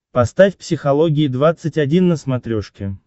поставь психология двадцать один на смотрешке